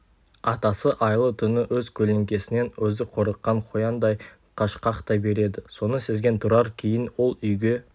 атасы айлы түні өз көлеңкесінен өзі қорыққан қояндай қашқақтай береді соны сезген тұрар кейін ол үйге